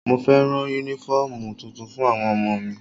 Mo fẹ́ rán Únífọ́ọ̀mù tuntun fún àwọn ọmọ mi